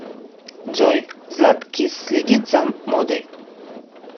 джой златкис следит за модой